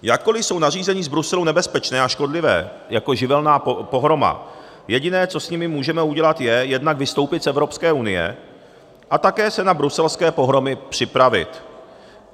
Jakkoli jsou nařízení z Bruselu nebezpečná a škodlivá jako živelní pohroma, jediné, co s nimi můžeme udělat, je jednak vystoupit z Evropské unie a také se na bruselské pohromy připravit.